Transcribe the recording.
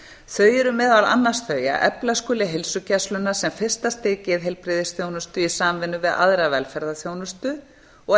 þau eru meðal annars þau að efla skuli heilsugæsluna sem fyrsta stig geðheilbrigðisþjónustu í samvinnu við aðra velferðarþjónustu og að